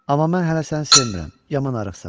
Amma mən hələ səni sevmirəm, yaman arıqsan.